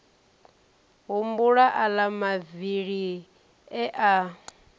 humbula aḽa mavili e a